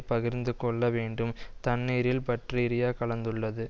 பகிர்ந்துகொள்ள வேண்டும் தண்ணீரில் பற்றீரியா கலந்துள்ளது